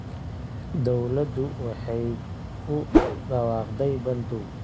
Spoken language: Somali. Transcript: Dawladdu waxay ku dhawaaqday bandow.